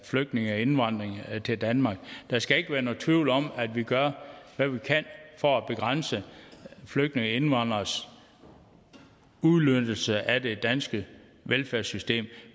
flygtninge og indvandring til danmark der skal ikke være nogen tvivl om at vi gør hvad vi kan for at begrænse flygtninge og indvandreres udnyttelse af det danske velfærdssystem